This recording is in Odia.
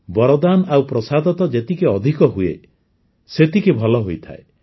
ବରଦାନ ଆଉ ପ୍ରସାଦ ତ ଯେତିକି ଅଧିକ ହୁଏ ସେତିକି ଭଲ ହୋଇଥାଏ